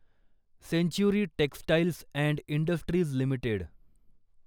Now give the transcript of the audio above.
century Textiles and Industries limited